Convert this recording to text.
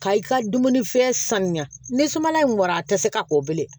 Ka i ka dumunifɛn sanuya ni suman in bɔra a tɛ se ka o bilen